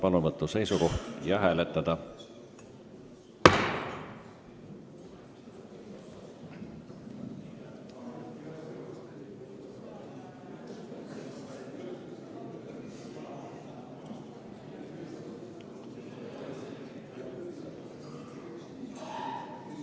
Palun võtta seisukoht ja hääletada!